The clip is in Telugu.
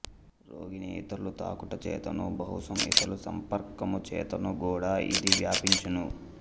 రోగిని ఇతరులు తాకుట చేతను బహుశః ఇతర సంపర్కము చేతను గూడ ఇది వ్యాపించును